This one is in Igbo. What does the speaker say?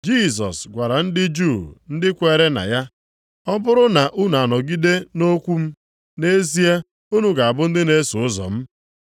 Jisọs gwara ndị Juu ndị kwere na ya, “Ọ bụrụ na unu anọgide nʼokwu m nʼezie unu ga-abụ ndị na-eso ụzọ m.